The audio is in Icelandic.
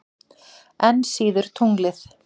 Enn síður tunglið.